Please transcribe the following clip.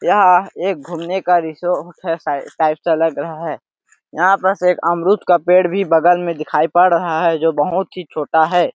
यहाँ एक घूमने का रिसोर्ट हैं सा टाइप से लग रहा है यहाँ पास एक अमरुद का पेड़ भी बगल में दिखाई पड़ रहा हैं जो बहुत ही छोटा है।